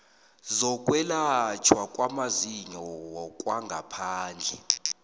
zokwelatjhwa kwamazinyo kwangaphandle